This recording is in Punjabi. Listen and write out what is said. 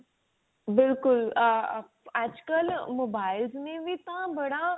ਬਿਲਕੁਲ ਆ ਆ ਅੱਜ ਕਲ mobiles ਨੇ ਵੀ ਤਾਂ ਬੜਾ